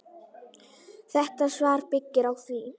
Þetta svar byggir á því.